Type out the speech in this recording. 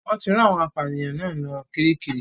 Wọ́n ti rán àwọn apànìyàn náà lọ Kiríkirì.